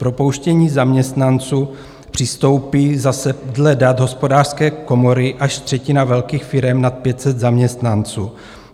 K propouštění zaměstnanců přistoupí zase dle dat hospodářské komory až třetina velkých firem nad 500 zaměstnanců.